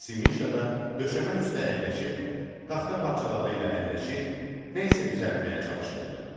Nəvəsi Mişa da döşəmə üstə əyləşib, taxta parçaları ilə əlləşir, nəsə düzəltməyə çalışırdı.